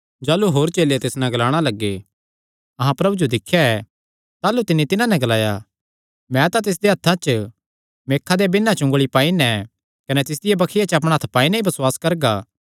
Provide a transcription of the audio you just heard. जाह़लू होर चेले तिस नैं ग्लाणा लग्गे अहां प्रभु जो दिख्या ऐ ताह़लू तिन्नी तिन्हां नैं ग्लाया मैं तां तिसदेयां हत्थां च मेखां देयां बिन्नां च उंगली पाई नैं कने तिसदिया बक्खिया च अपणा हत्थ पाई नैं ई बसुआस करगा